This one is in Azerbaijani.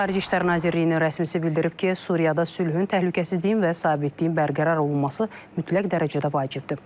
Xarici İşlər Nazirliyinin rəsmisi bildirib ki, Suriyada sülhün, təhlükəsizliyin və sabitliyin bərqərar olunması mütləq dərəcədə vacibdir.